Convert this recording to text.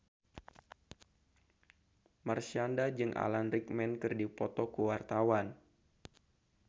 Marshanda jeung Alan Rickman keur dipoto ku wartawan